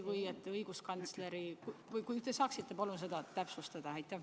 Kas te saaksite seda palun täpsustada?